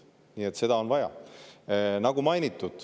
Nii et seda on vaja.